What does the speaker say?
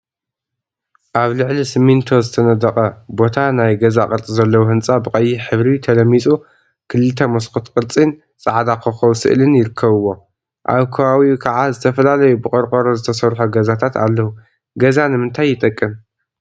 አብ ልዕሊ ስሚንቶ ዝተነደቀ ቦታ ናይ ገዛ ቅርፂ ዘለዎ ህንፃ ብቀይሕ ሕብሪ ተለሚፁ ክልተ መስኮት ቅርፂን ፃዕዳ ኮኮብ ስእሊን ይርከቡዎ፡፡ አብ ከባቢኡ ከዓ ዝተፈላለዩ ብቆርቆሮ ዝተሰርሑ ገዛታት አለው፡፡ ገዛ ንምንታይ ይጠቅም?